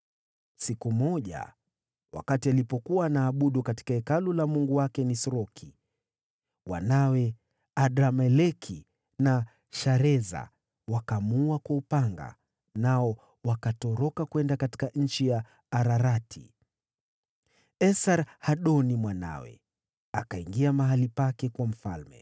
Siku moja, alipokuwa akiabudu katika hekalu la mungu wake Nisroki, wanawe Adrameleki na Shareza wakamuua kwa upanga, nao wakakimbilia nchi ya Ararati. Naye Esar-Hadoni mwanawe akawa mfalme badala yake.